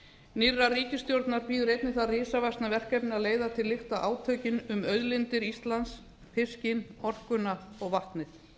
nýrrar ríkisstjórnar bíður einnig það risavaxna verkefni að leiða til lykta átökin um auðlindir íslands fiskinn orkuna og vatnið